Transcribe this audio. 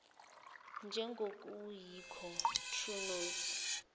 njengokuyikho true notes